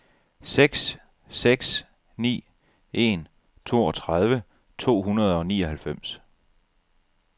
seks seks ni en toogtredive to hundrede og nioghalvfems